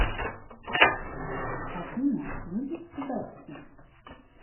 афина любишь задачки